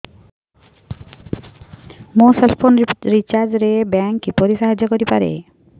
ମୋ cell phone recharge ରେ bank କିପରି ସାହାଯ୍ୟ କରିପାରିବ